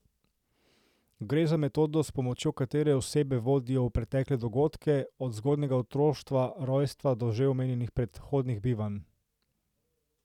Gre za metodo, s pomočjo katere osebo vodijo v pretekle dogodke, od zgodnjega otroštva, rojstva do že omenjenih predhodnih bivanj.